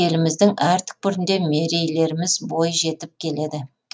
еліміздің әр түкпірінде мерейлеріміз бой жетіп келеді